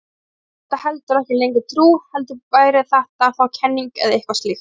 Þá væri þetta heldur ekki lengur trú heldur væri þetta þá kenning eða eitthvað slíkt.